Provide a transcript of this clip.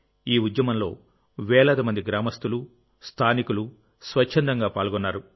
ఈ ఉద్యమంలో వేలాది మంది గ్రామస్తులు స్థానికులు స్వచ్ఛందంగా పాల్గొన్నారు